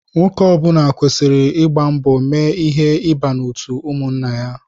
Nwoke ọbula kwesịrị ịgba mbọ mee ihe ịba n'otu ụmụnna ya.